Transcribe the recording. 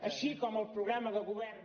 així com el programa de govern